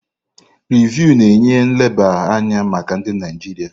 Rịvụ na-enye nleba anya maka ndị Naijiria.